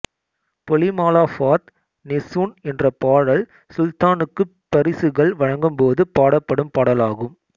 பொலிமாலாஃபாத் நெசுன் என்ற பாடல் சுல்தானுக்குப் பரிசுகள் வழங்கும்போது பாடப்படும் பாடலாகும்